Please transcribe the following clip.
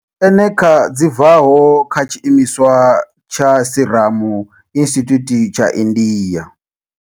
Eneca dzi bvaho kha tshiimiswa tsha Serum Institute tsha India.